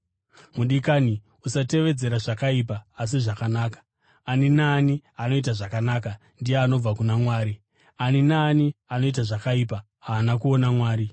Mudikani, usatevedzera zvakaipa asi zvakanaka. Ani naani anoita zvakanaka ndiye anobva kuna Mwari. Ani naani anoita zvakaipa haana kuona Mwari.